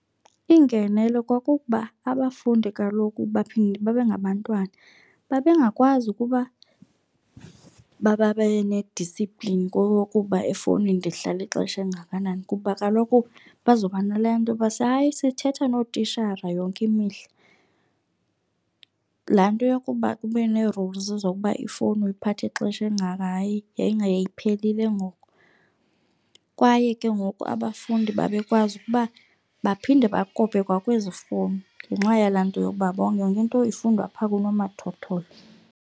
Iingenelo kwakukuba abafundi kaloku baphinde babe ngabantwana. Babe ngakwazi ukuba babe ne-discipline kokuba efowunini ndihlala ixesha elingakanani kuba kaloku bazoba nale nto yoba hayi sithetha nootishara yonke mihla. Laa nto yokuba ube ne-rules zokuba ifowuni uyiphatha ixesha elingaka, hayi yayinga yayiphelile ngoku. Kwaye ke ngoku abafundi babekwazi ukuba baphinde bakope kwakwezi fowuni ngenxa yalaa nto yokuba yonke nto ifundwa apha kunomathotholo.